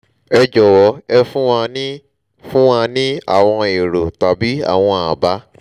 ẹ jọ̀wọ́ ẹ fún wa ní fún wa ní àwọn èrò tàbí àwọn àbá